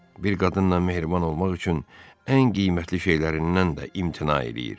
Bir qadınla mehriban olmaq üçün ən qiymətli şeylərindən də imtina eləyir.